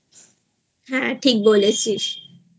হ্যাঁ ঠিক বলেছিসI